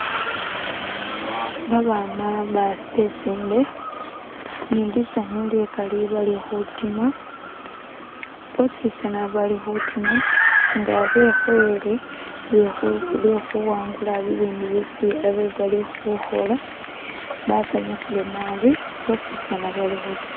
Babana besinde ni lisanyu likali bali khutima, boosi tsana bali khutima nga bekhoyele lwe khuwangula ibindu byesi abe bali khukhola, basanyukhile naabi, boosi tsana bali khutima.